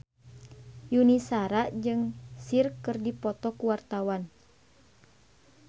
Yuni Shara jeung Cher keur dipoto ku wartawan